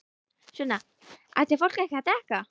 Sunna: Ætti fólk ekki að drekka?